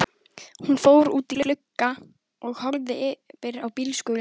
Hún fór út í glugga og horfði yfir á bílskúrinn.